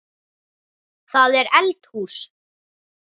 Það er eldhús.